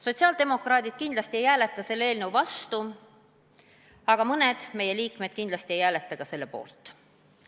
Sotsiaaldemokraadid kindlasti ei hääleta selle eelnõu vastu, aga mõned meie liikmed ei hääleta ka selle poolt.